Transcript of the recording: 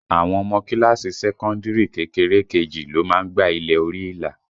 Àwọn ọmọ kíláàsì sẹ́kọ́ndìrì kékeré kejì ló má ń gba ilẹ̀ orí ìlà